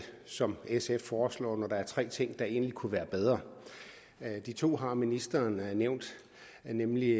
som sf foreslår når der er tre ting der egentlig kunne være bedre de to har ministeren nævnt nemlig